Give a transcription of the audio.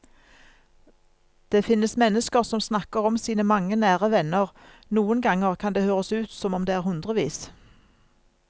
Det finnes mennesker som snakker om sine mange nære venner, noen ganger kan det høres ut som om det er hundrevis.